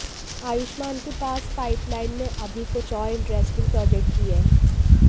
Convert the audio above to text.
आयुष्मान के पास पाइपलाइन में अभी कुछ और इंटरेस्टिंग प्रोजेक्ट भी हैं